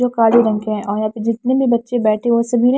जो काले रंग के हैं और जितने भी बच्चे बैठे हैं वो सभी--